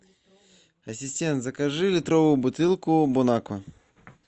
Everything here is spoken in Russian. ассистент закажи литровую бутылку бон аква